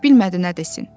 Bilmədi nə desin.